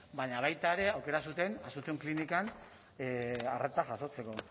baina baita ere aukera zuten asunción klinikan arreta jasotzeko